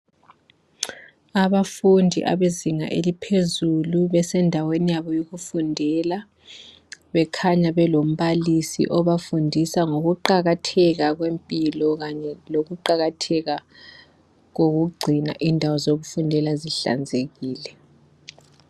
Abafundi bezinga eliphezulu besendaweni yabo yokufundela bekhanya belombalisi obafundisa ngokuqakatheka kwempilo kanye lokuqalatheka kokugcina indawo zokufundela zihlanzekile.